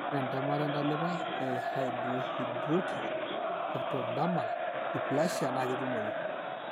Ore entemata entalipa ehypohidrotic ectodermal dysplasia naa ketumoyu.